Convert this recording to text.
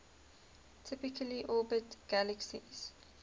typically orbit galaxies